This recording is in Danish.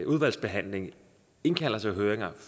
udvalgsbehandling indkalder til høringer og